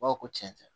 Ba ko cɛn tɛ